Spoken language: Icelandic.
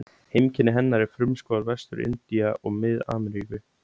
Heimkynni hennar eru frumskógar Vestur-Indía og Mið-Ameríku.